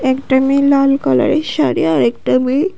একটা মেয়ে লাল কালারের শাড়ি আর একটা মেয়ে--